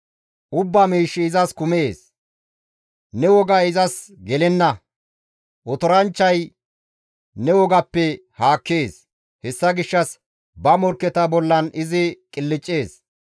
Ubbaa miishshi izas kumees; ne wogay izas gelenna; otoranchchay ne wogappe haakkees; hessa gishshas ba morkketa bollan izi qilccees.